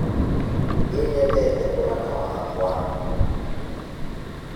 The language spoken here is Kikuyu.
Nĩ nyendete mwana wakwa.